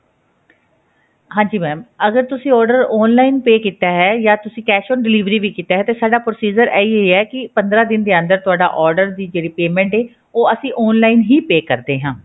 ਹਾਂਜੀ mam ਅਗਰ ਤੁਸੀਂ order online pay ਕੀਤਾ ਹੈ ਜਾਂ ਤੁਸੀਂ cash on delivery ਵੀ ਕੀਤਾ ਹੈ ਤੇ ਸਾਡਾ procedure ਇਹੀ ਹੀ ਹੈ ਕੀ ਪੰਦਰਾਂ ਦਿਨ ਦੇ ਅੰਦਰ ਤੁਹਾਡਾ order ਦੀ ਜਿਹੜੀ payment ਹੈ ਉਹ ਅਸੀਂ online ਹੀ pay ਕਰਦੇ ਹਾਂ